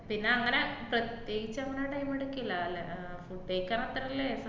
പിന്നെങ്ങനെ പ്രത്യേകിച്ചങ്ങനെ time എടുക്കില്ല അല്ലേ, ഏർ